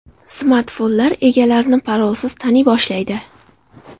Smartfonlar egalarini parolsiz taniy boshlaydi.